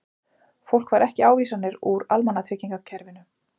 Fólk fær ekki ávísanir úr almannatryggingakerfinu